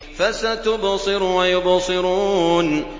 فَسَتُبْصِرُ وَيُبْصِرُونَ